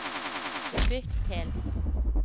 bytt til